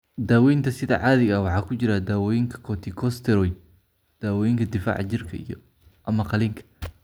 Daawaynta sida caadiga ah waxaa ku jira dawooyinka corticosteroid, daawooyinka difaaca jirka, iyo/ama qaliinka.